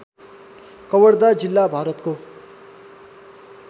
कवर्धा जिल्ला भारतको